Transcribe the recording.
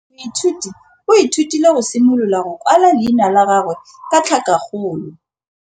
Moithuti o ithutile go simolola go kwala leina la gagwe ka tlhakakgolo.